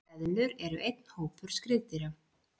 Eðlur eru einn hópur skriðdýra.